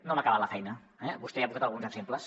no hem acabat la feina eh vostè ja n’ha posat alguns exemples